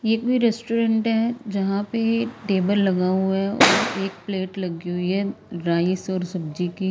ये भी रेस्टोरेंट है यहां पे टेबल लगा हुआ है और एक प्लेट लगी हुई है राइस और सब्जी की।